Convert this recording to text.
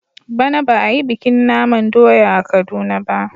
Bana ba a yi bikin naman doya a Kaduna ba.